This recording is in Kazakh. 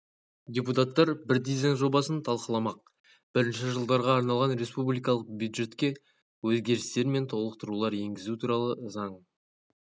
депутаттар бірдей заң жобасын талқыламақ бірінші жылдарға арналған республикалық бюджетке өзгерістер мен толықтырулар енгізу туралы заң